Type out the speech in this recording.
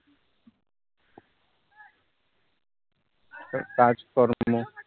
এক কাজ করো